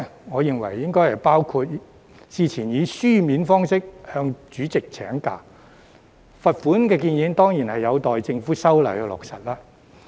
我認為應包括之前以書面方式向主席請假，罰款建議當然有待政府修例落實。